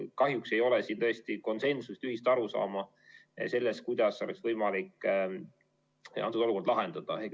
Kahjuks ei ole tõesti konsensust, ühist arusaama selles, kuidas oleks võimalik olukorda lahendada.